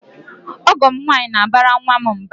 Ọgọ m nwaanyị na-abara nwa m mba.